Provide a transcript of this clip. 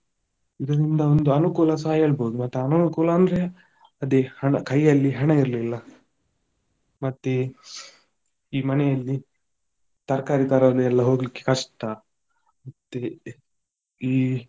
ಇದರಿಂದ ಒಂದು ಅನುಕೂಲಸ ಹೇಳ್ಬೊಹುದು ಮತ್ತೆ ಅನಾನುಕೂಲ ಅಂದ್ರೆ ಅದೇ ಹಣ ಕಯ್ಯಲ್ಲಿ ಹಣ ಇರ್ಲಿಲ್ಲ ಮತ್ತೆ ಈ ಮನೆಯಲ್ಲಿ ತರ್ಕಾರಿ ತರಲು ಎಲ್ಲ ಹೋಗ್ಲಿಕ್ಕೆ ಕಷ್ಟ ಮತ್ತೆ ಈ.